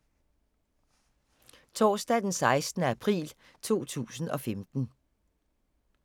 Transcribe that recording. Torsdag d. 16. april 2015